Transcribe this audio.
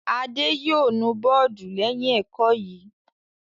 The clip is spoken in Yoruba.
Adé yóò nu bọ́ọ́dù lẹ́yìn ẹ̀kọ́ yìí!